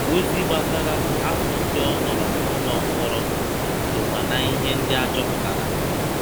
Ozi gbasara afọ ndị ọ nọrọ n'ụlọ mkpọrọ sokwa na ihe ndị a chọpụtara.